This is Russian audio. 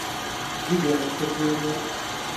еленой сергеевной